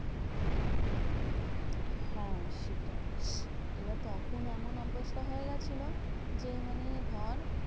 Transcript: হ্যাঁ সেটাই এবার তখন এমন অবস্থা হয়ে গেছিলো যে মানে ধর